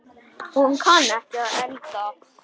Hún kann ekki að elda.